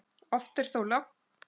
Oft er þó logn.